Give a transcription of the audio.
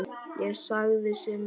Ég sagði sem minnst.